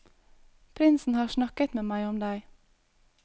Prinsen har snakket med meg om deg.